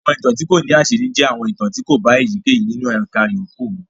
Àwọn ìtàn tí kò ní àṣírí jẹ́ àwọn ìtàn tí kò bá èyíkéyìí nínú àwọn ẹ̀ka yòókù mu.